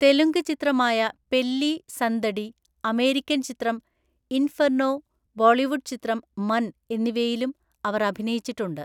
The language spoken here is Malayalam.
തെലുങ്ക് ചിത്രമായ പെല്ലി സന്ദഡി, അമേരിക്കൻ ചിത്രം ഇൻഫെർനോ, ബോളിവുഡ് ചിത്രം മൻ എന്നിവയിലും അവർ അഭിനയിച്ചിട്ടുണ്ട്.